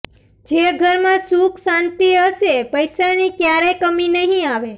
જે ઘરમાં સુખ શાંતિ હશે પૈસાની ક્યારેય કમી નહી આવે